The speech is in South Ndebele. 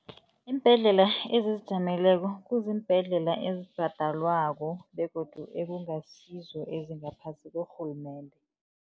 Iimbhedlela ezizijameleko kuziimbhedlela ezibhadelwako, begodu ekungasizo ezingaphasi korhulumende.